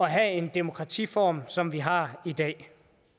have en demokratiform som vi har i dag